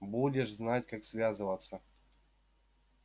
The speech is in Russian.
будешь знать как связываться